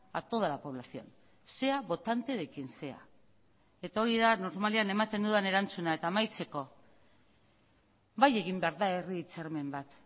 a toda la población sea votante de quien sea eta hori da normalean ematen dudan erantzuna eta amaitzeko bai egin behar da herri hitzarmen bat